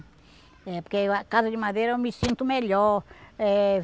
Porque casa de madeira eu me sinto melhor. Eh